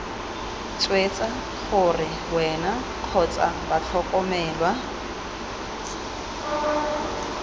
swetsa gore wena kgotsa batlhokomelwa